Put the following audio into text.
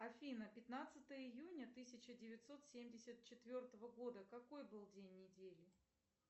афина пятнадцатое июня тысяча девятьсот семьдесят четвертого года какой был день недели